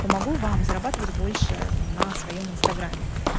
помогу вам зарабатывать больше на своём инстаграме